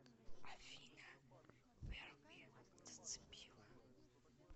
афина верби зацепила